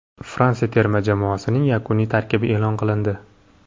Fransiya terma jamoasining yakuniy tarkibi e’lon qilindi.